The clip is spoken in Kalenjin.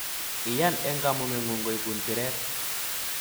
Iyan eng kamugengung koibun siret